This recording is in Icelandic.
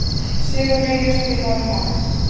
Sigurlilja, spilaðu lag.